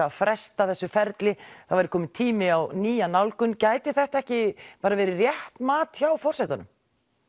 að fresta þessu ferli það væri kominn tími á nýja nálgun gæti þetta ekki bara verið rétt mat hjá forsetanum